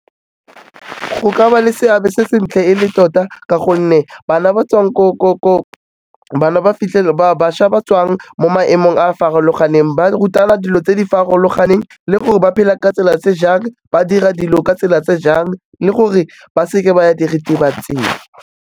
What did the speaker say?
Go ka ba le seabe se sentle e le tota ka gonne bana ba tswang , bana ba fitlhele ba bašwa ba tswang mo maemong a farologaneng, ba rutana dilo tse di farologaneng le gore ba phela ka tsela tse jang, ba dira dilo ka tsela tse jang le gore ba seke ba ya diritibatsing.